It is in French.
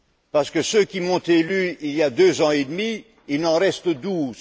parmi ceux qui m'ont élu il y a deux ans et demi, il en reste douze.